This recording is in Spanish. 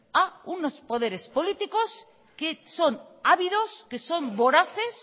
a unos poderes políticos que son ávidos que son voraces